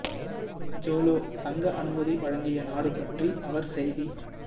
Joe Low தங்க அனுமதி வழங்கிய நாடு பற்றி அவர் செய்தி